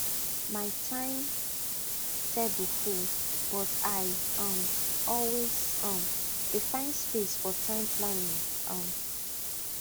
my time table full but i um always um dey find space for time planning um